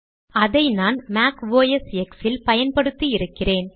அதை நான் Mac OS X ல் பயன்படுத்தி இருக்கிறேன்